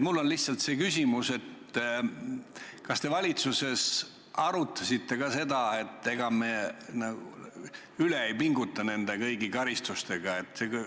Mul on lihtsalt küsimus: kas te valitsuses arutasite ka seda, et ega me üle ei pinguta kõigi nende karistustega?